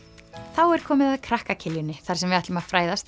þá er komið að krakka Kiljunni þar sem við ætlum að fræðast